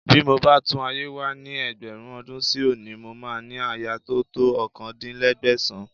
Bí mo bá tún ayé wá ní ẹgbẹ̀rún ọdún sí òní, mo máa ní aya tó to ọkàndínlẹ́ẹ̀ẹ́dẹ́gbẹ̀sàn-án